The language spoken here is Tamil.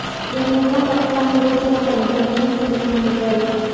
என் யூகம் கரக்டானு ஊர்ஜிதம் பண்ணிக்க மேலும் சில கிளினிகல்